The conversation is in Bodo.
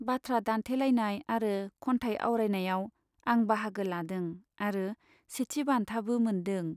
बाथ्रा दान्थेलायनाय आरो खन्थाइ आवरायनाइयाव आं बाहागो लादों आरो सेथि बान्थाबो मोनदों।